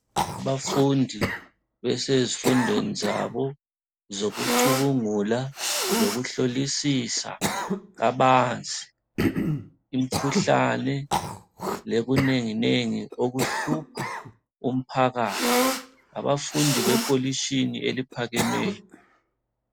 Abafundi besezifundweni zabo zokucubungula lokuhlolisisa kabanzi, imikhuhlane lokunengi nengi okuhlupha umphakathi, abafundi bekolitshini eliphakemeyo.